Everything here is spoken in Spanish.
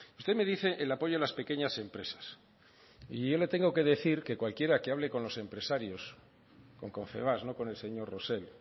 usted me dice el apoyo a las pequeñas empresas y yo le tengo que decir que cualquiera que hable con los empresarios con confebask no con el señor rosell